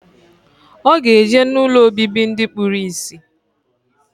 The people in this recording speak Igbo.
Oga eje na ụlọ obibi ndi kpuru isi.